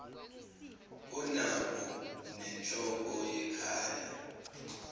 onabo nenhloko yekhaya